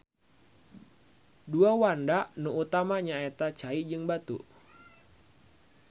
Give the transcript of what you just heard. Dua wanda nu utama nyaeta cai jeung batu